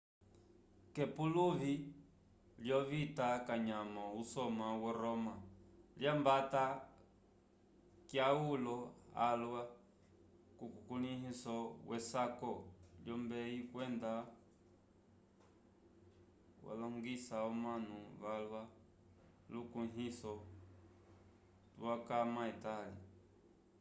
k'epuluvi lyovita kanyamo usoma wo roma lyambata kyaulo alwa kukulĩhiso wesaku wolombeyi kwenda walongisa omanu valwa lukuĩhiso tukwama etali